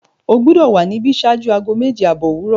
O gbọdọ wa níbí ṣáájú aago mẹ́je-abọ̀ owurọ!